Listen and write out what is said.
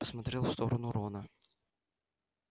посмотрел в сторону рона